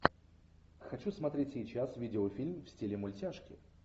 хочу смотреть сейчас видеофильм в стиле мультяшки